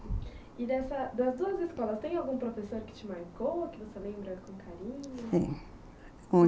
E dessas... das duas escolas, tem algum professor que te marcou, que você lembra com carinho?